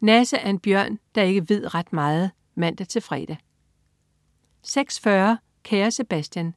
Nasse er en bjørn, der ikke ved ret meget (man-fre) 06.40 Kære Sebastian.